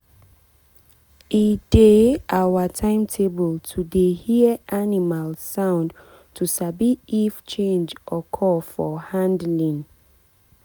e dey our timetable to dey hear animal sound to sabi if change occur for handling.